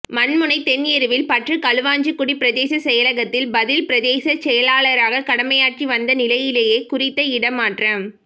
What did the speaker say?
மண்முனை தென் எருவில் பற்று களுவாஞ்சிக்குடி பிரதேச செயலகத்தில் பதில் பிரதேச செயலாளராக கடமையாற்றி வந்த நிலையிலேயே குறித்த இடமாற்றம்